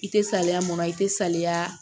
I tɛ salaya mun na i tɛ salaya